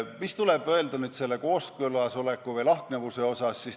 Mida öelda kooskõlas oleku või lahknevuse kohta?